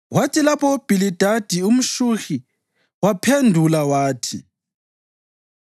Kwathi lapho uBhilidadi umShuhi waphendula wathi: